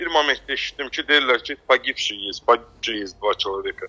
Bir momentdə eşitdim ki, deyirlər ki, "pagibshiy", "pagibshiy", "dva çeloveka".